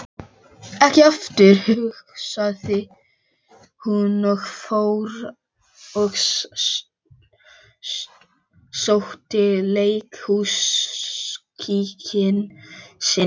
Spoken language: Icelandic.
Ekki aftur, hugsaði hún, og fór og sótti leikhúskíkinn sinn.